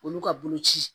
Olu ka boloci